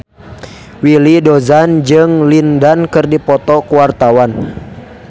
Willy Dozan jeung Lin Dan keur dipoto ku wartawan